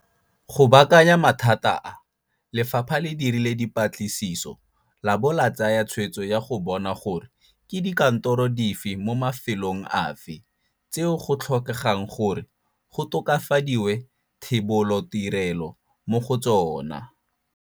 Go baakanya mathata a, Lefapha le dirile dipatlisiso labo la tsaya tshwetso ya go bona gore ke dikantoro dife mo mafelong afe tseo go tlhokegang gore go tokafadiwe thebolotirelo mo go tsona.